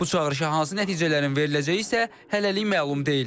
Bu çağırışa hansı nəticələrin veriləcəyi isə hələlik məlum deyil.